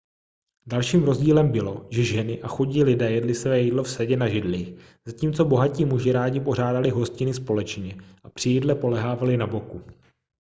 dalším rozdílem bylo že ženy a chudí lidé jedli své jídlo vsedě na židlích zatímco bohatí muži rádi pořádali hostiny společně a při jídle polehávali na boku